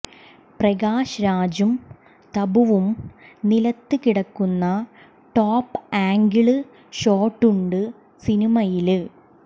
പ്രകാശ് രാജും തബുവും നിലത്ത് കിടക്കുന്ന ടോപ്പ് ആംഗിള് ഷോട്ടുണ്ട് സിനിമയില്